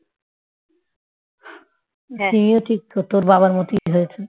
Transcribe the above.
সিমিও ঠিক তোর বাবার মতই হয়েছে